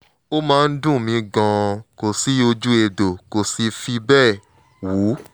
ó máa ń dùn mí gan-an kò sí ojú egbò kò sì fi bẹ́ẹ̀ sì fi bẹ́ẹ̀ wú